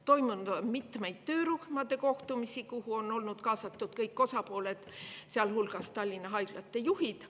Toimunud on mitmeid töörühmade kohtumisi, kuhu on olnud kaasatud kõik osapooled, sealhulgas Tallinna haiglate juhid.